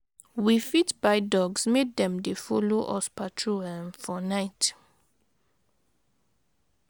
We fit buy dogs make dem dey follow us patrol um for night.